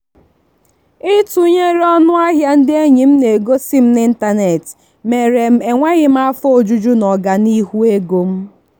itụnyere ọnụ ahịa ndị enyi m na-egosi m n'ịntanetị mere m enweghị afọ ojuju n'ọganihu ego m.